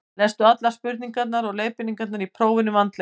lestu allar spurningar og leiðbeiningar í prófinu vandlega